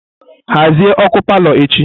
Hazie ọkụ palọ echi!